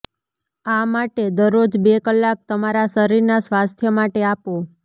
આ માટે દરરોજ બે કલાક તમારા શરીરના સ્વાસ્થ્ય માટે આપો